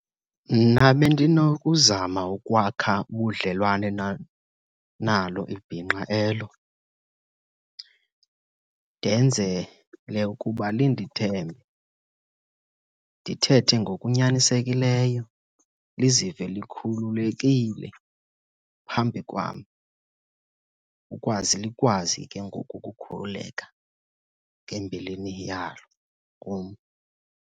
Mna bendiznokuzama ukwakha ubudlelwane nalo ibhinqa elo, ndenzele ukuba lindithembe. Ndithethe ngokunyanisekileyo lizive likhululekile phambi kwam ukwazi likwazi ke ngoku ukukhululeka ngembilini yalo kum.